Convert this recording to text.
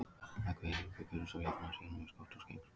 Hreggviður Heiðberg Gunnarsson jafnaði síðan með skoti úr aukaspyrnu.